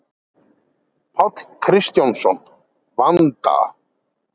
Páll Kristjánsson: Vanda?